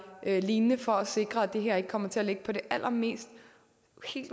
lignende for at sikre at det her ikke kommer til at ligge på det allermest